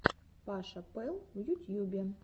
паша пэл в ютьюбе